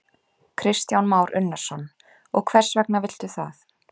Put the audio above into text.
Kristján Már Unnarsson: Og hvers vegna viltu það?